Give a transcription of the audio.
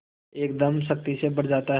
एकदम शक्ति से भर जाता है